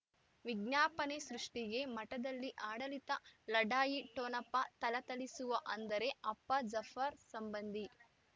ವಿಜ್ಞಾಪನೆ ಸೃಷ್ಟಿಗೆ ಮಠದಲ್ಲಿ ಆಡಳಿತ ಲಢಾಯಿ ಠೊಣಪ ಥಳಥಳಿಸುವ ಅಂದರೆ ಅಪ್ಪ ಜಾಫರ್ ಸಂಬಂಧಿ